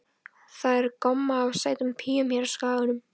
Það er gomma af sætum píum hér á Skaganum.